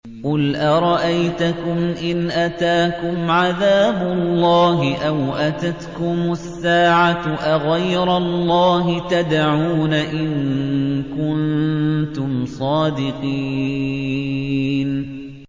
قُلْ أَرَأَيْتَكُمْ إِنْ أَتَاكُمْ عَذَابُ اللَّهِ أَوْ أَتَتْكُمُ السَّاعَةُ أَغَيْرَ اللَّهِ تَدْعُونَ إِن كُنتُمْ صَادِقِينَ